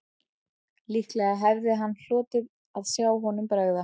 Líklega hefði hann hlotið að sjá honum bregða